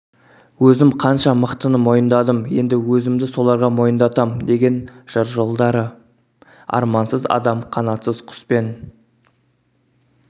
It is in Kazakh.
өзім қанша мықтыны мойындадым енді өзімді соларға мойындатам деген жыр жолдары армансыз адам қанатсыз құспен